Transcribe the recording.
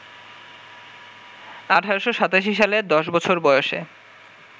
১৮৮৭ সালে দশ বছর বয়সে